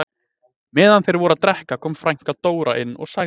Meðan þeir voru að drekka kom frænka Dóra inn og sagði